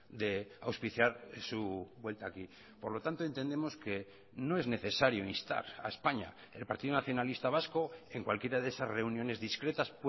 de auspiciar su vuelta aquí por lo tanto entendemos que no es necesario instar a españa el partido nacionalista vasco en cualquiera de esas reuniones discretas